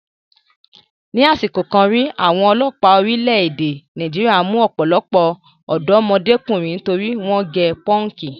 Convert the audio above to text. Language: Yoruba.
Ni àsìkò kan rí, àwọn ọlọ́pàá orílẹ̀-èdè Nàìjíríà mú ọ̀pọ̀lọpọ̀ ọ̀dọ́mọdékùnrin torí wọ́n gẹ pọ́ǹkì.